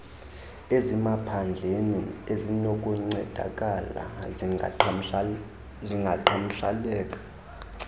ezisemaphandleni ezinokuncedakala zingaqhagamsheleka